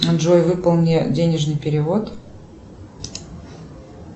джой выполни денежный перевод